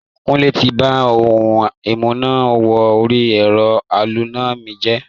Kúnlé ti ba ohun amúná-wọ-orí-ẹ̀rọ aloná mi jẹ́.